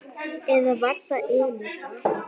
Eða var það Elísa?